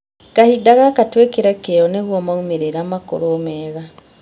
Kahinda gaka twĩkĩre kĩyo nĩguo maumĩrĩra makorwo mega